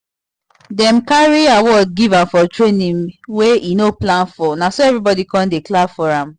dem carry award give am for training wey e no plan for na so everybody come dey clap for am